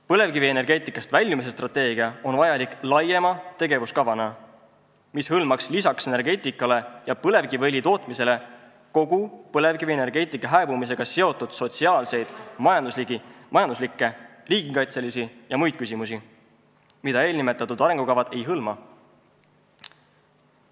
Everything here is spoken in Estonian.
Põlevkivienergeetikast väljumise strateegia on vajalik laiema tegevuskavana, mis hõlmaks lisaks energeetikale ja põlevkiviõli tootmisele põlevkivienergeetika hääbumisega seotud sotsiaalseid, majanduslikke, riigikaitselisi ja muid küsimusi, mida eelnimetatud arengukavad ei hõlma.